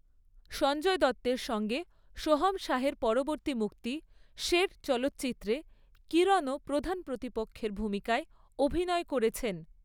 সঞ্জয় দত্তের সঙ্গে সোহম শাহের পরবর্তী মুক্তি, 'শের' চলচ্চিত্রে কিরণও প্রধান প্রতিপক্ষের ভূমিকায় অভিনয় করেছেন।